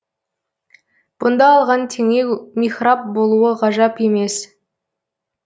бұнда алған теңеу михраб болуы ғажап емес